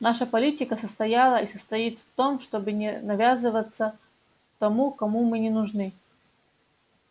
наша политика состояла и состоит в том чтобы не навязываться тому кому мы не нужны